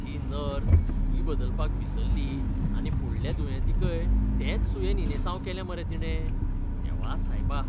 ती नर्स सूय बदलपाक विसरली आनी फुडल्या दुयेंतीकय तेच सुयेन इंजेसांव केलें मरे तिणें. देवा सायबा!